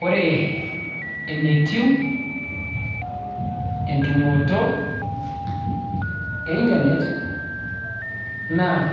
Ore enetiu entumoto e internet naa